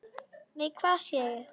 Nei, hvað sé ég!